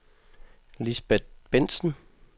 Lisbet Bentzen